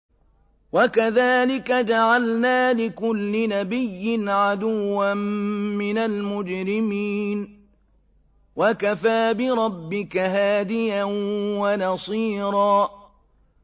وَكَذَٰلِكَ جَعَلْنَا لِكُلِّ نَبِيٍّ عَدُوًّا مِّنَ الْمُجْرِمِينَ ۗ وَكَفَىٰ بِرَبِّكَ هَادِيًا وَنَصِيرًا